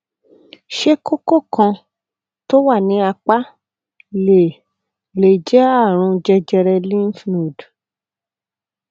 ṣé kókó kan tó wà ní apá lè lè jẹ àrùn jẹjẹrẹ lymph node